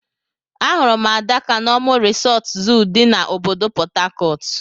Ahụrụ m Adaka na Omu Resort Zoo di na obodo portharcourt.